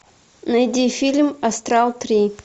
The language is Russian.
найди фильм астрал три